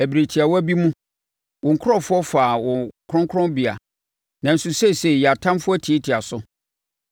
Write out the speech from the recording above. Ɛberɛ tiawa bi mu wo nkurɔfoɔ faa wo kronkronbea nanso seesei yɛn atamfoɔ atiatia so.